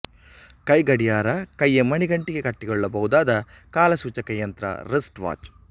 ಕೈಗಡಿಯಾರ ಕೈಯ ಮಣಿಗಂಟಿಗೆ ಕಟ್ಟಿಕೊಳ್ಳಬಹುದಾದ ಕಾಲಸೂಚಕ ಯಂತ್ರ ರಿಸ್ಟ್ ವಾಚ್